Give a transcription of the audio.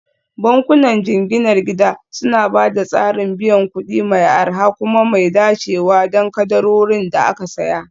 Bankunan jinginar gida suna ba da tsarin biyan kuɗi mai arha kuma mai dacewa don kadarorin da aka saya